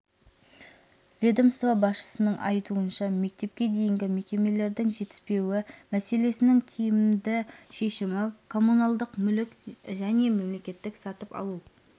ведомство басшысының айтуынша мектепке дейінгі мекемелердің жетіспеуі мәселесінің тиімді шешімі коммуналдық мүлік және мемлекеттік сатып алу